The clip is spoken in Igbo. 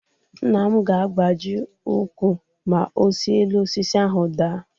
Nna m ga-agbaji úkwù ma o si elu osisi ahụ daa.